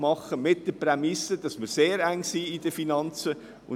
Dabei gilt die Prämisse, dass wir in finanzieller Hinsicht sehr eng drin sind.